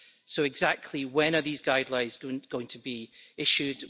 So exactly when are these guidelines going to be issued?